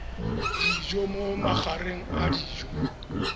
dijo mo magareng a dijo